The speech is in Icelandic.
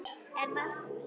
En Markús